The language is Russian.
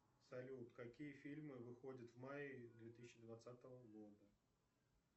салют какие фильмы выходят в мае две тысячи двадцатого года